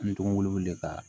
N denw wele ka